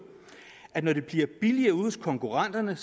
at når det bliver billigere ude hos konkurrenterne